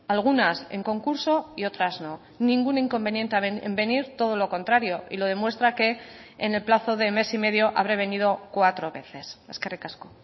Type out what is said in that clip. algunas en concurso y otras no ningún inconveniente en venir todo lo contrario y lo demuestra que en el plazo de mes y medio habré venido cuatro veces eskerrik asko